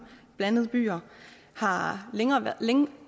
blandede byer har